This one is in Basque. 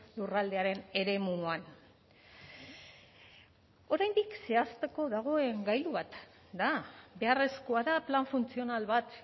lurraldearen eremuan oraindik zehazteko dagoen gailu bat da beharrezkoa da plan funtzional bat